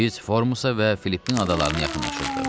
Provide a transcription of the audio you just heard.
Biz Formusa və Filippin adalarına yaxınlaşırdıq.